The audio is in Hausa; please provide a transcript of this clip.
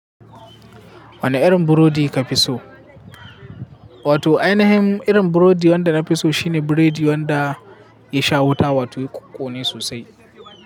Wane irin burodi ka fi so? Wato ainihin irin burodi wanda na fi so shine biredi wanda ya sha wuta wato kunkune sosai.